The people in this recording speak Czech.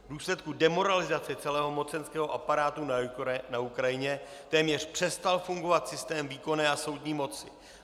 V důsledku demoralizace celého mocenského aparátu na Ukrajině téměř přestal fungovat systém výkonné a soudní moci.